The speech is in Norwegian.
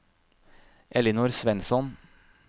Ellinor Svensson